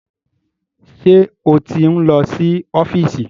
Ṣé ó ti ń lọ sí ọ́fíìsì?